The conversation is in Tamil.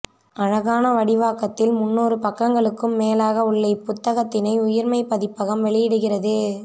அழகான வடிவாக்கத்தில் முந்நூறு பக்கங்களுக்கும் மேலாக உள்ள இப்புத்தகத்தினை உயிர்மை பதிப்பகம் வெளியிடுகிறது